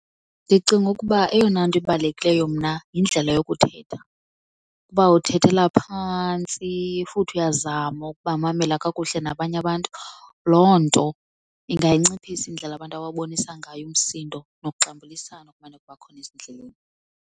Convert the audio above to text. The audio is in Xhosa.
Ndicinga ukuba eyona nto ibalulekileyo mna yindlela yokuthetha. Ukuba uthethela phantsi futhi uyazama ukubamamele kakuhle nabanye abantu loo nto inganciphisa indlela abantu obabonisa ngayo umsindo nokuxambulisana okumane kuba khona ezindleleni.